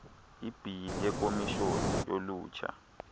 ibhili yekomishoni yolutsha